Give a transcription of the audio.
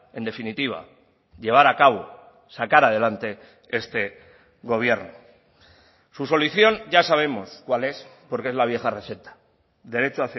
en definitiva llevar a cabo sacar adelante este gobierno su solución ya sabemos cuál es porque es la vieja receta derecho